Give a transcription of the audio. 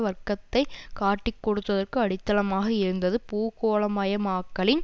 வர்க்கத்தை காட்டிக்கொடுத்ததற்கு அடித்தளமாக இருந்தது பூகோளமயமாக்கலின்